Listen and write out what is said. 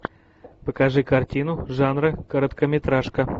покажи картину жанра короткометражка